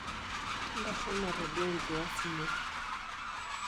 Ntasho matodua enkias ino.